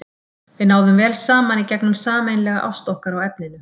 Við náðum vel saman í gegnum sameiginlega ást okkar á efninu.